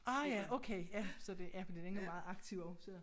Ah ja okay ja så det ja for den er meget aktiv også